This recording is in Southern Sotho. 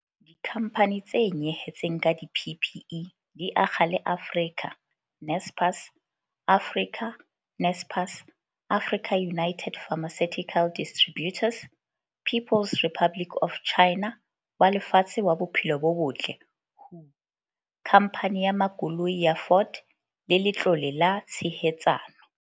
Dikhamphane tse nyehetseng ka di-PPE di akga le Africa, Naspers, Africa, Naspers, AfricaUnited Pharmaceutical Distributors, People's Republic of Chinatlo wa Lefatshe wa Bophelo bo Botle, Khamphane ya Makoloi ya Ford le Letlole la Tshehetsano.